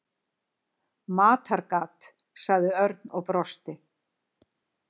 Matargat sagði Örn og brosti.